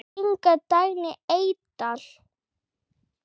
Inga Dagný Eydal.